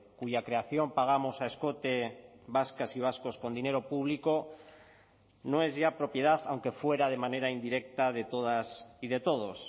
cuya creación pagamos a escote vascas y vascos con dinero público no es ya propiedad aunque fuera de manera indirecta de todas y de todos